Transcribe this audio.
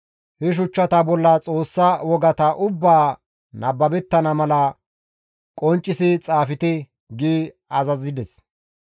He shuchchata bolla Xoossa wogata ubbaa nababettana mala qonccisi xaafte» gi azazides.